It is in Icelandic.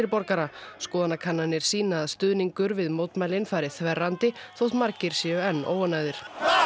borgara skoðanakannanir sýna að stuðningur við mótmælin fari þverrandi þótt margir séu enn óánægðir